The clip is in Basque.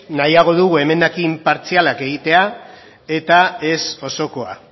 nahiago dugu emendakin partzialak egitea eta ez osokoa